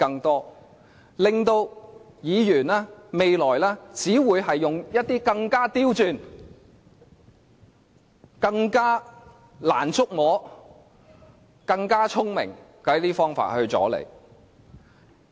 將來，議員只會用一些更加刁鑽、更加難以觸摸、更加聰明的方法來阻延你。